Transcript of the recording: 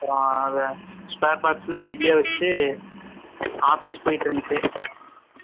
அப்புறம், அதை, spare parts ல, வீட்டுலயே வச்சிட்டு, office போயிட்டு இருந்துச்சு